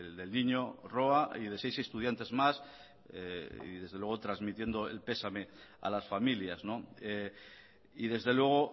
del niño roa y de seis estudiantes más y desde luego transmitiendo el pesame a las familias y desde luego